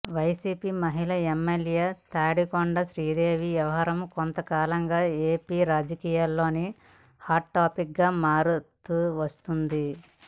YCP మహిళా MLA Tadikonda Sridevi వ్యవహారం కొంతకాలంగా ఏపీ రాజకీయాల్లో హాట్ టాపిక్ గా మారుతూ వస్తోంది